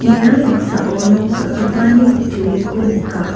ia noksao nok dal·gipani kutturiko nika.